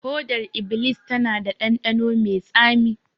Hodar iblis tana da dandano mai tsami